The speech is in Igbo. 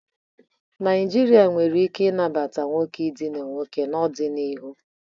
Nigeria nwere ike nabata nwoke idina nwoke n'ọdịniihu.